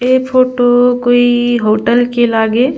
ये फोटो कोई होटल के लागे--